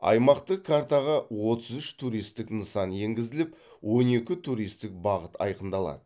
аймақтық картаға отыз үш туристік нысан енгізіліп он екі туристік бағыт айқындалады